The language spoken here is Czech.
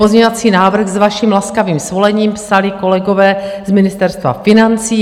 Pozměňovací návrh s vaším laskavým svolením psali kolegové z Ministerstva financí.